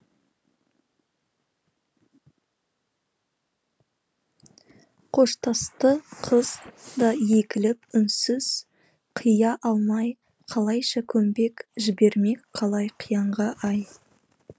қоштасты қыз да егіліп үнсіз қия алмай қалайша көнбек жібермек қалай қиянға ай